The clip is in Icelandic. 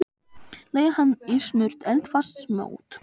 Leggið hann í smurt eldfast mót.